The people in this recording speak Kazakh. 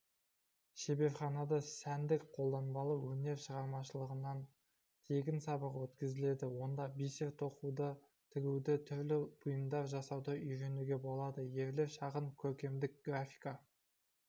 шеберханада сәндік қолданбалы өнер шығармашылығынан тегін сабақ өткізіледі онда бисер тоқуды тігуді түрлі бұйымдар жасауды үйренуге болады ерлер шағын көркемдік графика